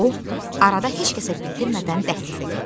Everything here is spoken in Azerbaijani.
O arada heç kəsə bildirmədən dəhlizə getdi.